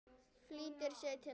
Flýtir sér til hans.